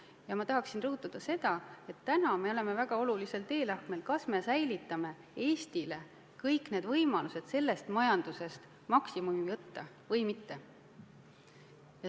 Ja ma tahan rõhutada, et me oleme praegu väga olulisel teelahkmel, kus tuleb otsustada, kas me säilitame Eestile võimalused sellest majandusest maksimumi võtta või mitte.